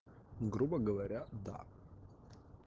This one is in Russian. грубо говоря да